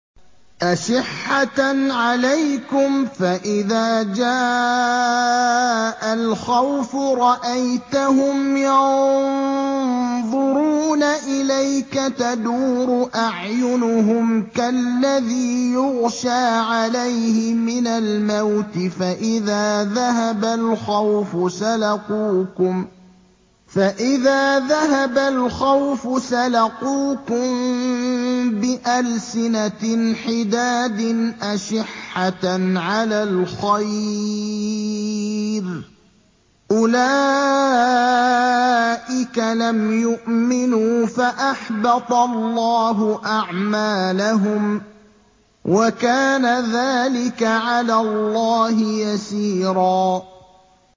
أَشِحَّةً عَلَيْكُمْ ۖ فَإِذَا جَاءَ الْخَوْفُ رَأَيْتَهُمْ يَنظُرُونَ إِلَيْكَ تَدُورُ أَعْيُنُهُمْ كَالَّذِي يُغْشَىٰ عَلَيْهِ مِنَ الْمَوْتِ ۖ فَإِذَا ذَهَبَ الْخَوْفُ سَلَقُوكُم بِأَلْسِنَةٍ حِدَادٍ أَشِحَّةً عَلَى الْخَيْرِ ۚ أُولَٰئِكَ لَمْ يُؤْمِنُوا فَأَحْبَطَ اللَّهُ أَعْمَالَهُمْ ۚ وَكَانَ ذَٰلِكَ عَلَى اللَّهِ يَسِيرًا